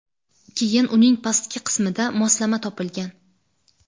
Keyin uning pastki qismida moslama topilgan.